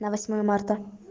на восьмое марта